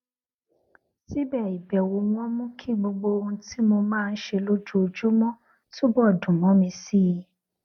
síbè ìbèwò wọn mú kí gbogbo ohun tí mo máa ń ṣe lójoojúmó túbò dùn mó mi sí i